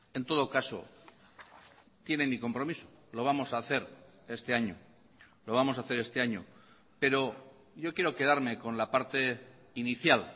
en todo caso tienen mi compromiso lo vamos a hacer este año lo vamos a hacer este año pero yo quiero quedarme con la parte inicial